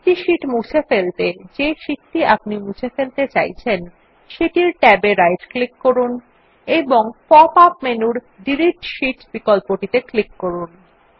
একটি শীট মুছে ফেলতে যে শীট আপনি মুছে ফেলতে চাইছেন সেটির ট্যাব এ রাইট ক্লিক করুন এবং পপ আপ মেনুর ডিলিট শীট বিকল্পটিত়ে ক্লিক করুন